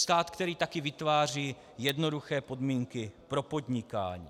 Stát, který také vytváří jednoduché podmínky pro podnikání.